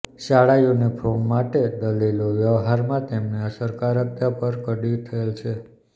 શાળા યુનિફોર્મ માટે દલીલો વ્યવહારમાં તેમની અસરકારકતા પર કડી થયેલ છે